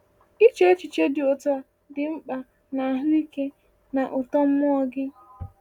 Iche echiche dị otu a dị mkpa n’ahụike na uto mmụọ gị.